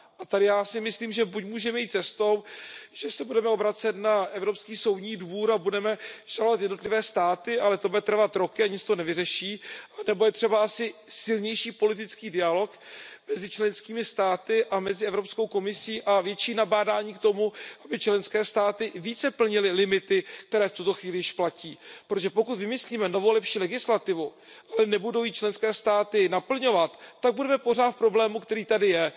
A tady já si myslím, že buď můžeme jít cestou, že se budeme obracet na Evropský soudní dvůr a budeme žalovat jednotlivé státy, ale to bude trvat roky a nic to nevyřeší, nebo je třeba asi silnější politický dialog mezi členskými státy a mezi Evropskou komisí a větší nabádání k tomu, aby členské státy více plnily limity, které v tuto chvíli již platí. Pokud vymyslíme novou lepší legislativu, ale nebudou ji členské státy naplňovat, tak budeme pořád v problému, který tady je.